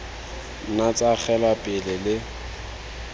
nna tsa agelwa pele le